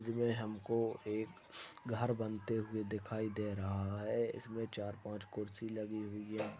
इसमें हम को एक घर बनते हुए दिखाई दे रहा है इसमें चार पांच कुर्सी लगी हुई है।